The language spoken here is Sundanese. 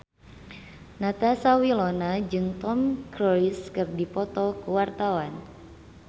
Natasha Wilona jeung Tom Cruise keur dipoto ku wartawan